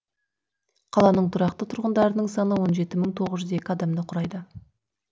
қаланың тұрақты тұрғындарының саны он жеті мың тоғыз жүз екі адамды құрайды